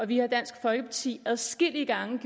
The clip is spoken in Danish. vi har i dansk folkeparti adskillige gange